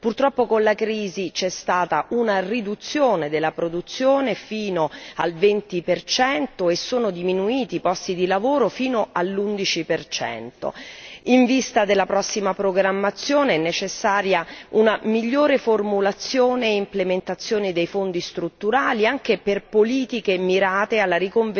Purtroppo con la crisi c'è stata una riduzione della produzione fino al 20 e sono diminuiti i posti di lavoro fino all'11. In vista della prossima programmazione è necessaria una migliore formulazione e implementazione dei Fondi strutturali, anche per politiche mirate alla